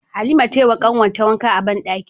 Halima tayi wa kanwar ta wanka a banɗaki